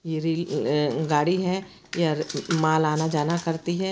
ये रेलगाड़ी है य माल आना-जाना करती है।